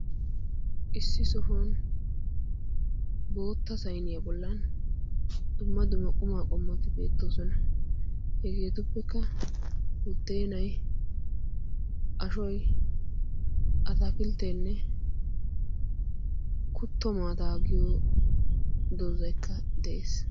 Issi sohuwan bootta saynniya bollan dumma duma qma qomoti beettoosona. hegetuppekka buddenay, ashoy, atakilttenne kutto maata giyo doozaykka de'es.